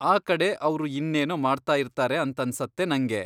ಆ ಕಡೆ ಅವ್ರು ಇನ್ನೇನೋ ಮಾಡ್ತಾಯಿರ್ತಾರೆ ಅಂತನ್ಸತ್ತೆ ನಂಗೆ.